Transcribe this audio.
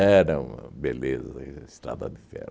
uma beleza, a Estrada de Ferro.